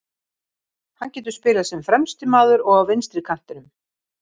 Hann getur spilað sem fremsti maður og á vinstri kantinum.